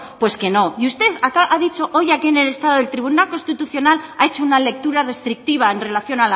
pues que no y usted ha dicho hoy aquí en el estado del tribunal constitucional ha hecho una lectura restrictiva en relación